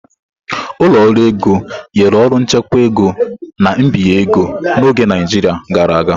Ụlọ ọrụ ego nyere ọrụ nchekwa ego na mbinye ego n'oge Naijiria gara aga.